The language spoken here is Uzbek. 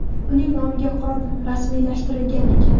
uning nomiga qurol rasmiylashtirilgan ekan.